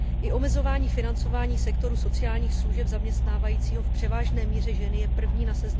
I omezování financování sektoru sociálních služeb zaměstnávajícího v převážné míře ženy je první na seznamu úsporných opatření.